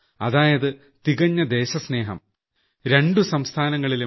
അതായത് തികഞ്ഞ ദേശസ്നേഹം രണ്ട് സംസ്ഥാനങ്ങളിലും